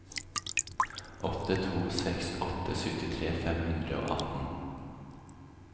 åtte to seks åtte syttitre fem hundre og atten